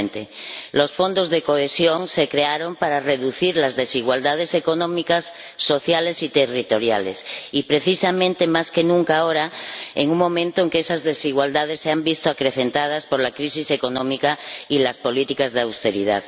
2020. Los Fondos de Cohesión se crearon para reducir las desigualdades económicas, sociales y territoriales y, precisamente, más que nunca ahora, nos encontramos en un momento en que esas desigualdades se han visto acrecentadas por la crisis económica y las políticas de austeridad.